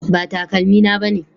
Ba takalmina bane